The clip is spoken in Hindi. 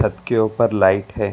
छत के ऊपर लाइट है।